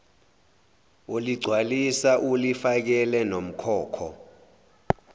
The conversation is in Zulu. uligcwalisa ulifakele nomkhokho